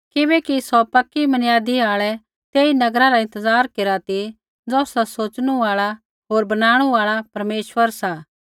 किबैकि सौ पक्की मनियादी आल़ै तेई नगरा रा इंतज़ार केरा ती ज़ौसरा सोच़नू आल़ा होर बनाणु आल़ा परमेश्वर सा